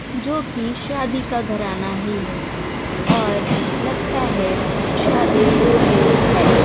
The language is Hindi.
जो की शादी का घराना ही है और लगता है शादी हो गयी है।